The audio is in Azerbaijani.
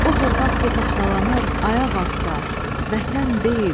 O torpaq ki tapdalanır, ayaq altda, vətən deyil.